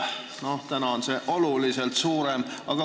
Praegu on see oluliselt suurem.